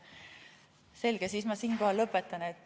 Selge, siis ma siinkohal lõpetan.